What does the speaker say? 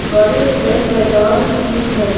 बड़े से मैदान की है।